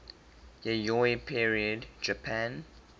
yayoi period japan